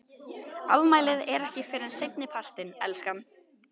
Afmælið er ekki fyrr en seinni partinn, elskan.